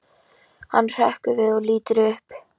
Hann hrekkur við og lítur upp.